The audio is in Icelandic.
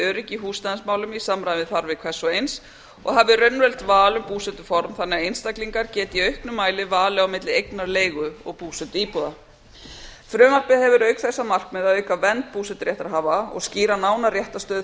öryggi í húsnæðismálum í samræmi við þarfir hvers og eins og hafi raunverulegt val um búsetuform þannig að einstaklingar geti í auknum mæli valið á milli eignar og leigu og búsetuíbúða frumvarpið hefur auk þess að markmiði að auka vernd búseturéttarhafa og skýra nánar réttarstöðu